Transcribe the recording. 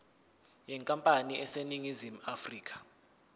yenkampani eseningizimu afrika